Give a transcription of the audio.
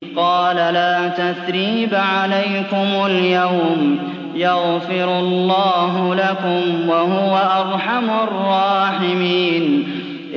قَالَ لَا تَثْرِيبَ عَلَيْكُمُ الْيَوْمَ ۖ يَغْفِرُ اللَّهُ لَكُمْ ۖ وَهُوَ أَرْحَمُ الرَّاحِمِينَ